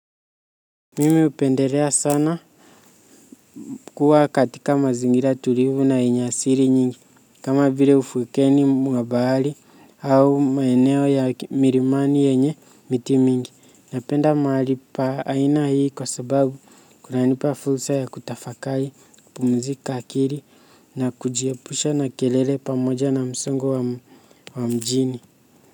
Mimi hupendelea sana kuwa katika mazingira tulivu na yenye asili nyingi kama vile ufukweni mwa bahari au maeneo ya milimani yenye miti mingi napenda mahali pa aina hii kwa sababu kunanipa fursa ya kutafakari kupumzika akili na kujiepusha na kelele pamoja na msongo wa mjini.